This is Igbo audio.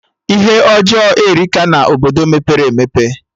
Ihe ọjọọ erika na Obodo mepere emepe